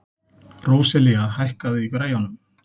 Róselía, hækkaðu í græjunum.